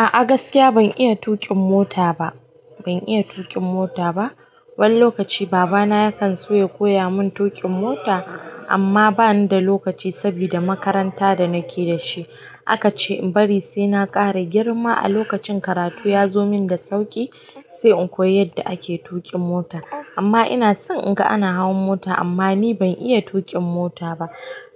A'a gaskiya ban iya tuƙin mota ba. Ban iya tuƙin mota ba. Wani lokaci baba na ya kan so ya koya mun tuƙin mota amma bani da lokaci sabida makaranta da na ke dashi. A ka ce in bari sai na ƙara girma a lokacin karatu ya zo min da sauƙi se inko yi yadda ake tuƙin mota amma ina son in ga ana hawan mota amma ni ban iya tuƙin mota ba.